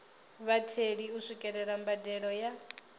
vhatheli u swikelela mbadelo ya